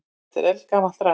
Þetta er eldgamalt drasl.